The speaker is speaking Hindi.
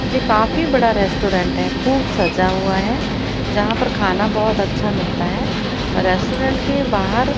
ये काफी बड़ा रेस्टोरेंट है खूब सज़ा हुआ है जहाँ पर खाना बहोत अच्छा मिलता है रेस्टोरेंट के बाहर--